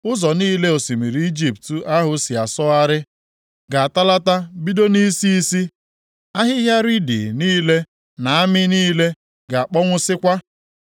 Ụzọ niile osimiri Ijipt ahụ si asọgharị ga-atalata bido nʼisi isi. Ahịhịa riidi niile na amị niile ga-akpọnwụsịkwa.